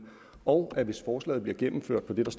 og at hvis forslaget bliver gennemført med det der